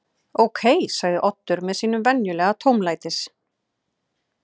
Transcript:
Upprunalega hljóðaði spurningin Hvers vegna er til svona margar ólíkar hundategundir?